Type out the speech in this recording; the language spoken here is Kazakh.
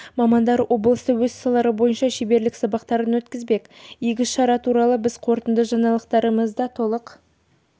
мамандар облыста өз салалары бойынша шеберлік сағаттарын өткізбек игі шара туралы біз қорытынды жаңалықтарымызда толық